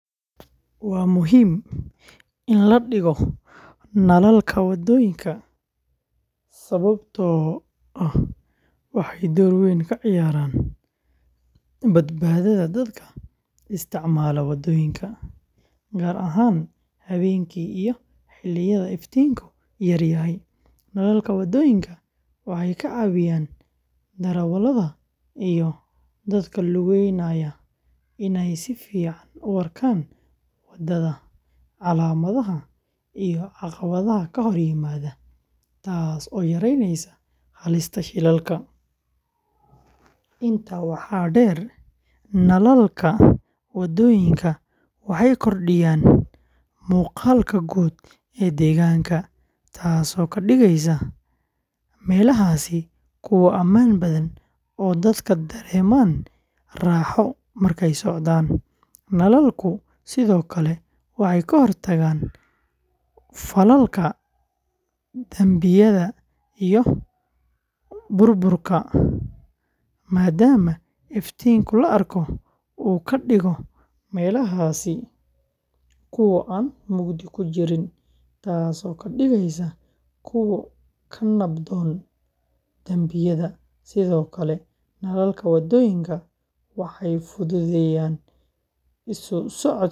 Waa muhiim in la dhigo nalalka waddooyinka sababtoo ah waxay door weyn ka ciyaaraan badbaadada dadka isticmaala waddooyinka, gaar ahaan habeenkii iyo xilliyada iftiinku yar yahay. Nalalka waddooyinka waxay ka caawiyaan darawalada iyo dadka lugeynaya inay si fiican u arkaan waddada, calaamadaha, iyo caqabadaha ka hor yimaada, taas oo yaraynaysa halista shilalka. Intaa waxaa dheer, nalalka waddooyinka waxay kordhiyaan muuqaalka guud ee deegaanka, taasoo ka dhigaysa meelahaasi kuwo ammaan badan oo dadka dareemaan raaxo markay socdaan. Nalalku sidoo kale waxay ka hortagaan falalka dambiyada iyo burburka maadaama iftiinka la arko uu ka dhigayo meelahaasi kuwo aan mugdi ku jirin, taasoo ka dhigaysa kuwo ka nabdoon dambiyada. Sidoo kale, nalalka waddooyinka waxay fududeeyaan isu socodka gaadiidka.